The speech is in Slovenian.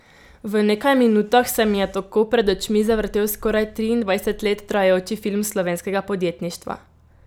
V nekaj minutah se mi je tako pred očmi zavrtel skoraj triindvajset let trajajoči film slovenskega podjetništva.